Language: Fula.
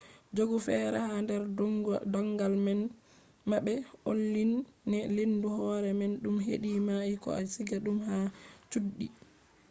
jogu fere ha der dongal ma be onlyne lendu hore man dum hedi e-mail ko a siga dum ha chuddi